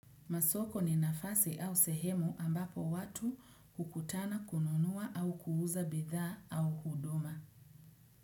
Masoko ni nafasi au sehemu ambapo watu kukutana kununua au kuuza bidhaa au huduma.